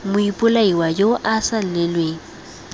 moipolai yo o sa lelelweng